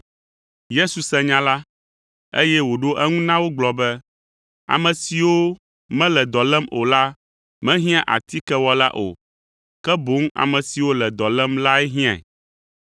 Yesu se nya la, eye wòɖo eŋu na wo gblɔ be, “Ame siwo mele dɔ lém o la mehiã atikewɔla o, ke boŋ ame siwo le dɔ lém lae hiãe.